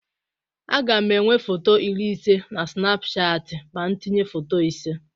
Aga m enwe foto iri ise na Sịnapụchatị ma m tinye foto ise.